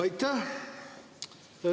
Aitäh!